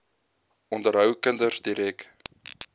onderhou kinders direk